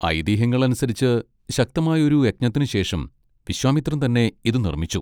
ഐതിഹ്യങ്ങൾ അനുസരിച്ച്, ശക്തമായ ഒരു യജ്ഞത്തിനുശേഷം വിശ്വാമിത്രൻ തന്നെ ഇത് നിർമ്മിച്ചു.